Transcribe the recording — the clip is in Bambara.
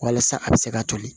Walasa a bɛ se ka toli